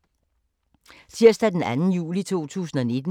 Tirsdag d. 2. juli 2019